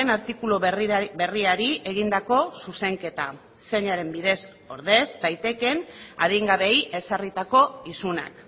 artikulu berriari egindako zuzenketa zeinaren bidez ordez daitekeen adingabeei ezarritako isunak